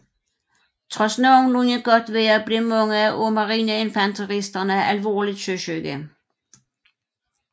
Trods nogenlunde godt vejr blev mange af marineinfanteristerne alvorligt søsyge